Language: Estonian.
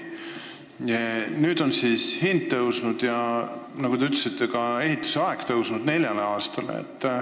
Nüüd on hind tõusnud ja nagu te ütlesite, ka arvatav ehitusaeg on pikenenud nelja aastani.